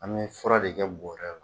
An bi fura de kɛ bɔrɛ la